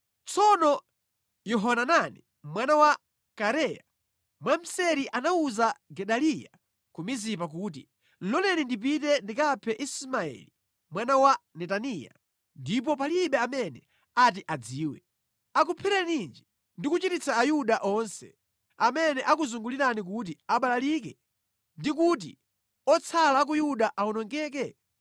Tsono Yohanani mwana wa Kareya, mwamseri anawuza Gedaliya ku Mizipa kuti, “Loleni ndipite ndikaphe Ismaeli mwana wa Netaniya, ndipo palibe amene ati adziwe. Akuphereninji ndi kuchititsa Ayuda onse, amene akuzungulirani kuti abalalike ndi kuti otsala a ku Yuda awonongeke?”